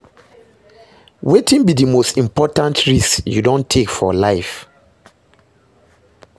Wetin be di most important risk you don take for life?